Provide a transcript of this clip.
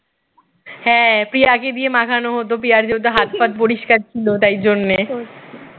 হ্যাঁ প্রিয়াকে দিয়ে মাখানো হত প্রিয়ার যেহেতু হাত ফাত পরিষ্কার ছিল তাই জন্যে